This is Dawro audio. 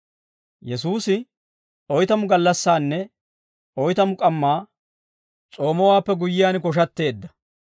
Yesuusi oytamu gallassaanne oytamu k'ammaa s'oomowaappe guyyiyaan koshatteedda.